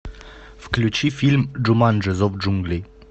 включи фильм джуманджи зов джунглей